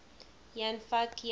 jan van eyck